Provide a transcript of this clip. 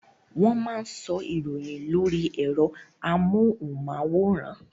Wọ́n máa ń sọ ìròyìn lóri ẹ̀rọ amóhùnmáwòrán.